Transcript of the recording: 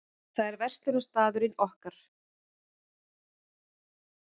Það er verslunarstaðurinn okkar.